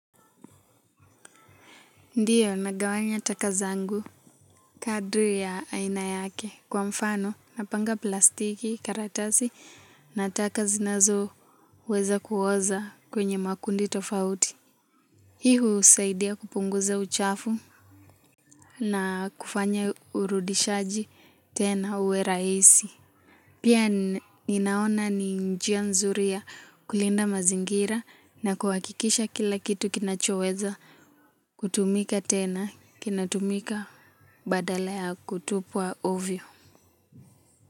Ndiyo nagawanya taka zangu kadri ya aina yake kwa mfano napanga plastiki karatasi na taka zinazoweza kuoza kwenye makundi tofauti. Hii husaidia kupunguza uchafu na kufanya urudishaji tena uwe rahisi. Pia ninaona ni njia nzuri ya kulinda mazingira na kuhakikisha kila kitu kinachoweza kutumika tena kinatumika. Badala ya kutupwa ovyo.